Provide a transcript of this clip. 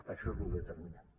això és lo determinant